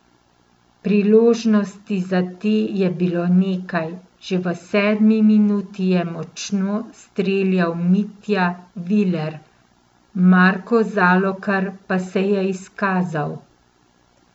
Priložnosti za te je bilo nekaj, že v sedmi minuti je močno streljal Mitja Viler, Marko Zalokar pa se je izkazal.